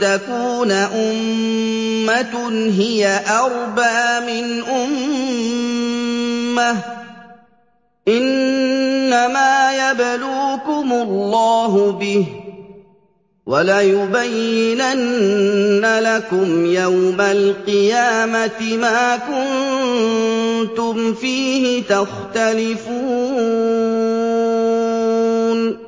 تَكُونَ أُمَّةٌ هِيَ أَرْبَىٰ مِنْ أُمَّةٍ ۚ إِنَّمَا يَبْلُوكُمُ اللَّهُ بِهِ ۚ وَلَيُبَيِّنَنَّ لَكُمْ يَوْمَ الْقِيَامَةِ مَا كُنتُمْ فِيهِ تَخْتَلِفُونَ